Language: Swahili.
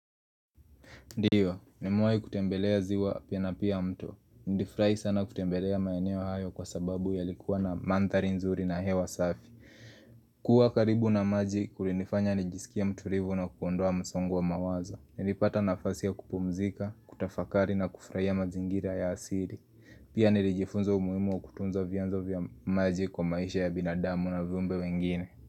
Ndiyo, nimewahi kutembelea ziwa pia na pia mtu. Nilifurahi sana kutembelea maeneo hayo kwa sababu ya likuwa na mandhari nzuri na hewa safi. Kuwa karibu na maji, kulinifanya nijisikie mtulivu na kuondoa msongo wa mawazo. Nilipata nafasi ya kupumzika, kutafakari na kufurahia mazingira ya asili. Pia nilijifunza umuhimu wa kutunza vyanzo vya maji kwa maisha ya binadamu na viumbe wengine.